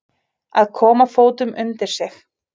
Að koma fótunum undir sig